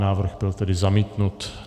Návrh byl tedy zamítnut.